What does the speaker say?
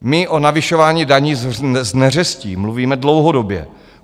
My o navyšování daní z neřestí mluvíme dlouhodobě.